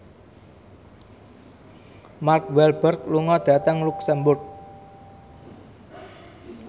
Mark Walberg lunga dhateng luxemburg